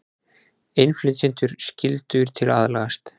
Innflytjendur skyldugir til að aðlagast